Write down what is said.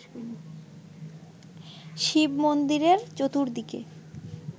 শিব-মন্দিরের চতুর্দিকে